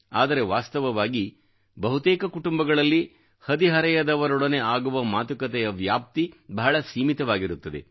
ಆದರೆ ವಾಸ್ತವವಾಗಿ ಬಹುತೇಕ ಕುಟುಂಬಗಳಲ್ಲಿ ಹದಿಹರೆಯದವರೊಡನೆ ಆಗುವ ಮಾತುಕತೆಯ ವ್ಯಾಪ್ತಿ ಬಹಳ ಸೀಮಿತವಾಗಿರುತ್ತದೆ